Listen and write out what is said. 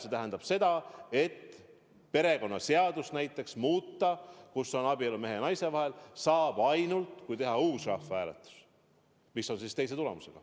See tähendab seda, et perekonnaseadust, kus on kirjas, et abielu on mehe ja naise vahel, saab muuta ainult siis, kui teha uus rahvahääletus, mis on teise tulemusega.